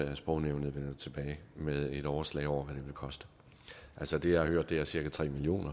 at sprognævnet vender tilbage med et overslag over vil koste altså det jeg har hørt er cirka tre million